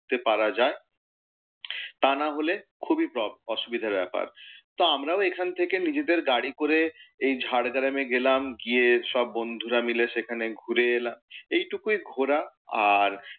পারা যায়। তা না হলে খুবই অসুবিধের ব্যাপার। তা আমরাও এখান থেকে নিজেদের গাড়ি করে এই ঝাড়গ্রামে গেলাম, গিয়ে সব বন্ধুরা মিলে সেখানে ঘুরে এলাম, এইটুকুই ঘোরা। আর,